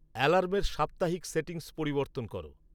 অ্যালার্মের সাপ্তাহিক সেটিংস পরিবর্তন করো